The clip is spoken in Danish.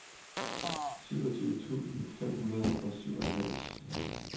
syvogtyve tusind fem hundrede og syvoghalvfems